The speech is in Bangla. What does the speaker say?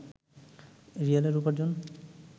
রিয়ালের উপার্জন